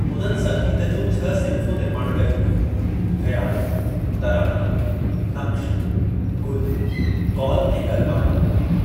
उन्हनि संगीत जे छह सिंफ़ूं निर्माणु कयूं हुयुं ख़याल, तराना, नक़्श, गुल, कौल ऐं कलबाना।